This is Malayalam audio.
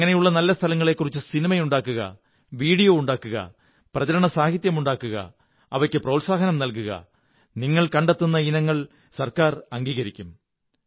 അങ്ങനെയുള്ള നല്ല സ്ഥലങ്ങളെക്കുറിച്ച് സിനിമ ഉണ്ടാക്കുക വീഡിയോ ഉണ്ടാക്കുക പ്രചരണസാഹിത്യമുണ്ടാക്കുക അവയ്ക്കു പ്രോത്സാഹനം നല്കുക നിങ്ങൾ കണ്ടെത്തുന്ന ഇനങ്ങൾ ഗവണ്മെകന്റ് അംഗീകരിക്കും